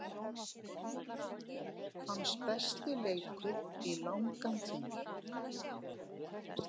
Hans besti leikur í langan tíma.